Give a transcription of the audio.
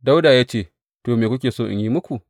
Dawuda ya ce, To, me kuke so in yi muku?